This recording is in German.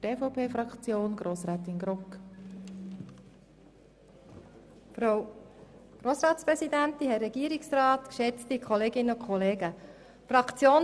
Die EVPFraktion teilt die Meinung des Regierungsrats und lehnt das Postulat ebenfalls ab.